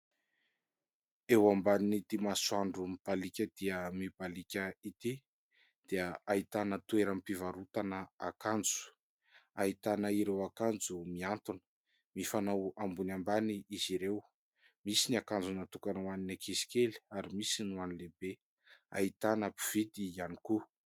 Eo ambanin'itỳ masoandro mibaliaka dia mibaliaka itỳ dia ahitana toeram-pivarotana akanjo, ahitana ireo akanjo mihantona, mifanao ambony ambany izy ireo. Misy ny akanjo natokana ho an'ny ankizy kely ary misy ny ho an'ny lehibe. Ahitana mpividy ihany koa.